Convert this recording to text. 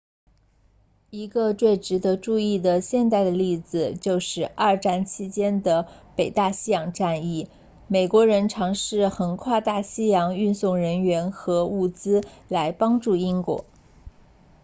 一个最值得注意的现代的例子就是二战期间的北大西洋战役美国人尝试横跨大西洋运送人员和物资来帮助英国